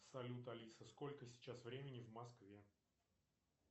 салют алиса сколько сейчас времени в москве